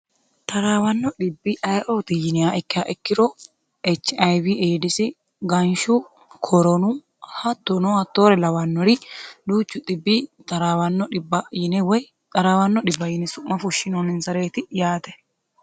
taraawanno dhibbi ayioti yinniha ikkiya ikkiro HIV ADS, ganshu, koronu hattono hattoore lawannori duuchu dhibbi taraawanno dhibba yine woy taraawanno dhibba yine su'ma fushshinooninsareeti yaate.